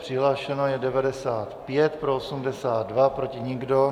Přihlášeno je 95, pro 82, proti nikdo.